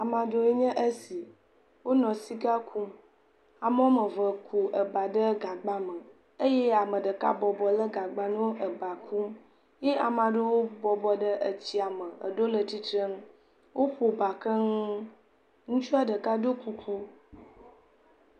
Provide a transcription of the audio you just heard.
Ame aɖewoe nye esi, wonɔ sika kum, am woame eve ku eba ɖe gagba me eye ame ɖeka bɔbɔ lé gagba nɔ eba kum, ye ame aɖewo bɔbɔ ɖe etsia me, eɖewo le tsitre nu, woƒo eba keŋ, ŋutsua ɖeka ɖo kuku.